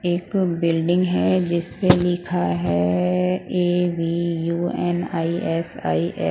एक बिल्डिंग है जिसमें लिखा है ए_बी_यू_एन_आई_एस_आई_ए --